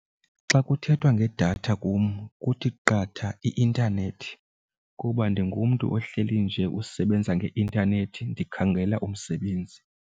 Xa kuthethwa ngedatha kum kuthi qatha i-intanethi kuba ndingumntu ohleli nje usebenza ngeintanethi ndikhangela umsebenzi.